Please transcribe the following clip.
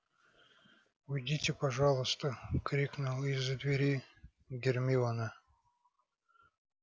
уйдите пожалуйста крикнула из-за двери гермиона